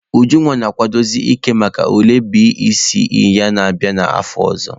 Ujunwa na-akwadozi ike maka ule BECE ya na-abịa n'afọ ọzọ.